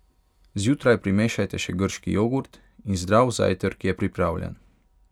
Zjutraj primešajte še grški jogurt in zdrav zajtrk je pripravljen!